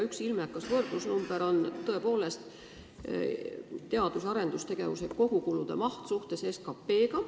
Üks ilmekas võrdlusnumber on tõepoolest teadus- ja arendustegevuse kogukulude maht võrreldes SKT-ga.